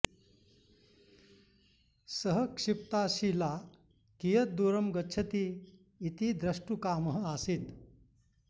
सः क्षिप्ता शिला कियत् दूरं गच्छति इति द्र्ष्टुकामः आसीत्